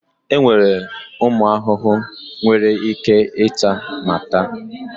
Enwere ụmụ ahụhụ nwere ike ịta ma ta.